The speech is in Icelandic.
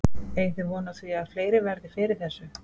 Eigið þið von á því að fleiri verði fyrir þessu?